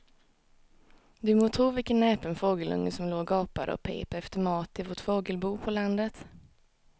Du må tro vilken näpen fågelunge som låg och gapade och pep efter mat i vårt fågelbo på landet.